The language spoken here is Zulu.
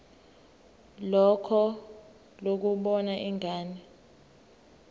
lakho lokubona ingane